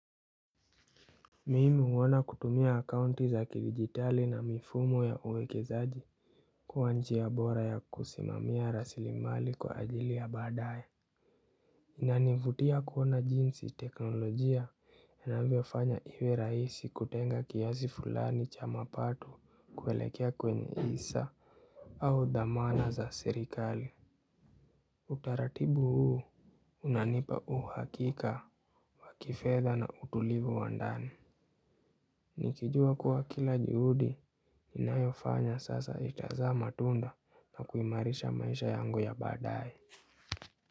Mimu huona kutumia akaunti za kidigitali na mifumo ya uwekezaji kuwa njia ya bora ya kusimamia rasilimali kwa ajili ya baadae. Inanivutia kuoana jinsi teknolojia inavyofanya iwe rahisi kutenga kiasi fulani cha mapato kuelekea kwenye hisa au dhamana za serikali. Utaratibu huu unanipa uhakika wa kifedha na utulivu wa ndani. Nikijua kuwa kila juhudi nnayofanya sasa itazaa matunda na kuimarisha maisha yangu ya baadae.